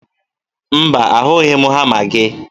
Mba, ahụghị m hama gị